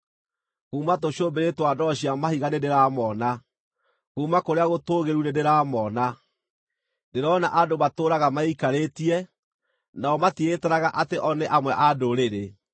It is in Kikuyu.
Kuuma tũcũmbĩrĩ twa ndwaro cia mahiga nĩndĩramoona, kuuma kũrĩa gũtũũgĩru nĩndĩramoona. Ndĩrona andũ matũũraga meikarĩtie, nao matiĩtaraga atĩ o nĩ amwe a ndũrĩrĩ.